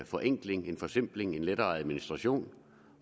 forenkling en forsimpling en lettere administration